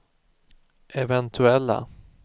eventuella